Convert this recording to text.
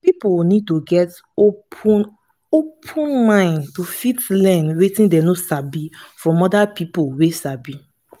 pipo need to get open open mind to fit learn wetin dem no sabi from oda pipo wey sabi